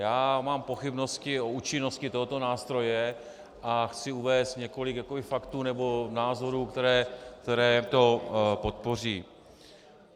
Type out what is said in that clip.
Já mám pochybnosti o účinnosti tohoto nástroje a chci uvést několik faktů nebo názorů, které to podpoří.